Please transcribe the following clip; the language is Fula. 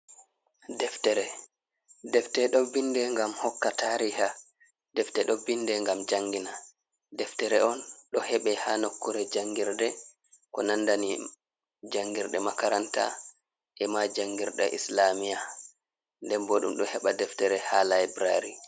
Deftere ,deftee ɗo binde ngam hokka tariha, defte ɗo binde ngam jangina. Deftere on ɗo heɓe haa nokkuure jangirde ko nandani jangirde makaranta e ma jangirde islamiya. Nden bo ɗum ɗo heɓa deftere haa laybulaari.